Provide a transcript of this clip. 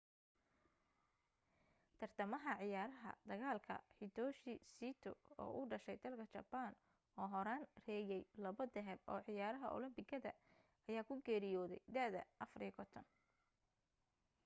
tartamaha ciyaarta dagaalka hitoshi saito oo u dhashay dalka jabaan oo horaan reeyay labo dahab oo ciyaraha olambikada ayaa ku geeriyooday da'da 54